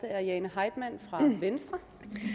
er jane heitmann fra venstre